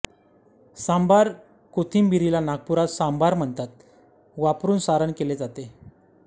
सांभार कोथिंबिरीला नागपुरात सांभार म्हणतात वापरून सारण केले जाते